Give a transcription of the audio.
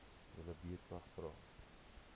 julle buurtwag vra